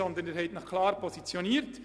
Sie haben sich ja klar positioniert.